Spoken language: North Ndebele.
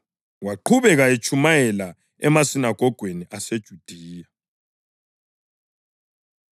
Waqhubeka etshumayela emasinagogweni aseJudiya.